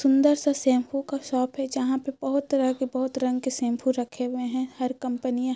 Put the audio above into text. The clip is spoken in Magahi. सुंदर सा शैम्पू का शॉप है जहां पे बहुत तरह तरह की बहुत रंग की शैम्पू रखे हुए है हर कंपनियां --